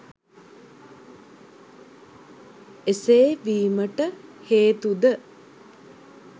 එසේ වීමට හේතුද